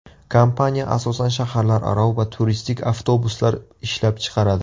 Kompaniya asosan shaharlararo va turistik avtobuslar ishlab chiqaradi.